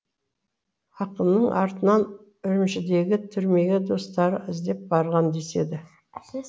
ақынның артынан үрімшідегі түрмеге достары іздеп барған деседі